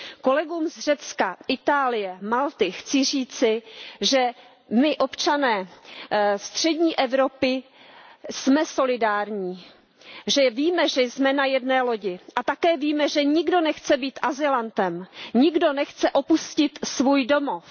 Kolegům z Řecka, Itálie, Malty chci říci, že my, občané střední Evropy, jsme solidární, že víme, že jsme na jedné lodi. A také víme, že nikdo nechce být azylantem, nikdo nechce opustit svůj domov.